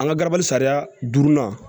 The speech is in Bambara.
An ka garabali sariya durunan